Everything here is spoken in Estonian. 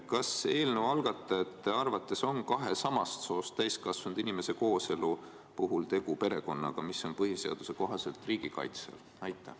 Kas eelnõu algatajate arvates on kahe samast soost täiskasvanud inimese kooselu puhul tegu perekonnaga, mis on põhiseaduse kohaselt riigi kaitse all?